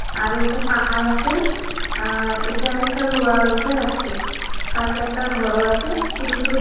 আরো উপরে পাহাড় আছে । আর একটা লোহার উপরে রাখছে। পাশে একটা ঘরও আছে ছোট ছোট গা--